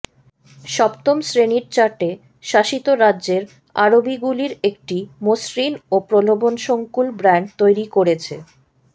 সপ্তম শ্রেণীর চার্টে শাসিত রাজ্যের আরবিগুলির একটি মসৃণ ও প্রলোভনসঙ্কুল ব্র্যান্ড তৈরি করেছে